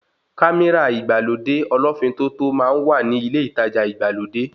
Kámírà ìgbàlódé ọlọ́ọ́fin tótó máa ń wà ni ilé ìtajà ìgbàlódé